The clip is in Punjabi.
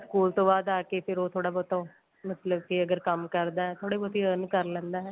school ਤੋਂ ਬਾਅਦ ਆ ਕੇ ਫੇਰ ਥੋੜਾ ਬਹੁਤ ਉਹ ਮਤਲਬ ਕੀ ਅਗਰ ਕੰਮ ਕਰਦਾ ਥੋੜੀ ਬਹੁਤ earn ਕਰ ਲੈਂਦਾ